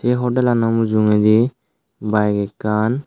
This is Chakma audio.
ei hodellano mujungedi bayeg ekkan.